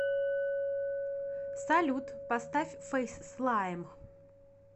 салют поставь фэйс слайм